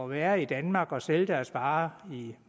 være i danmark og sælge deres varer i